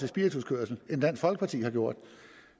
spirituskørsel end dansk folkeparti har gjort